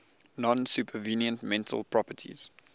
non supervenient mental properties